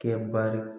Kɛ bari